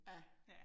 Ja